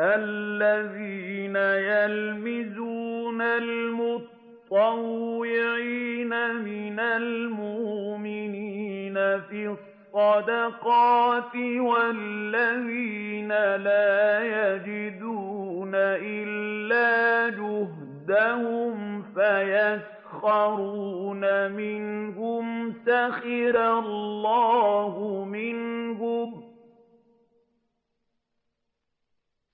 الَّذِينَ يَلْمِزُونَ الْمُطَّوِّعِينَ مِنَ الْمُؤْمِنِينَ فِي الصَّدَقَاتِ وَالَّذِينَ لَا يَجِدُونَ إِلَّا جُهْدَهُمْ فَيَسْخَرُونَ مِنْهُمْ ۙ